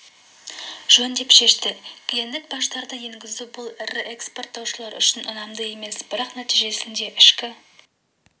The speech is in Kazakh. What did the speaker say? жөн деп шешті кедендік баждарды енгізу бұл ірі экспорттаушылар үшін ұнамды емес бірақ нәтижесінде ішкі